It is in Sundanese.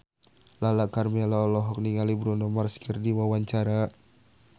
Lala Karmela olohok ningali Bruno Mars keur diwawancara